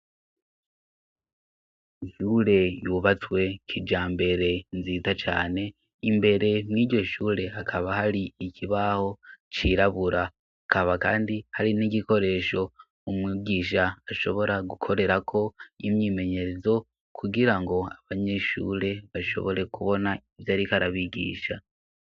Shure yubatswe kija mbere nzita cane imbere mwiryoshure akaba hari ikibaho cirabura akaba, kandi hari n'igikoresho umwibwisha ashobora gukorerako imyimenyerezo kugira ngo abanyeshure bashobore kubona na ivyo, ariko arabigisha.